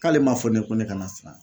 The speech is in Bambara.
K'ale ma fɔ ne ye ko ne kana siran !